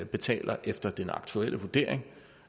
betaler efter den aktuelle vurdering